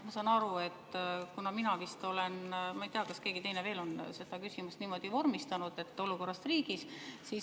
Ma saan aru, et mina vist olen – ma ei tea, kas keegi teine veel – küsimuse niimoodi vormistanud, et "Olukord riigis".